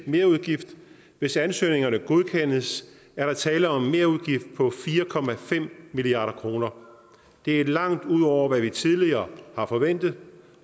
merudgift hvis ansøgningerne godkendes er der tale om en merudgift på fire milliard kroner det er langt ud over hvad vi tidligere har forventet